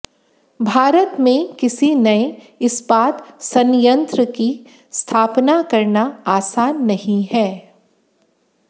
भारत में किसी नए इस्पात संयंत्र की स्थापना करना आसान नहीं है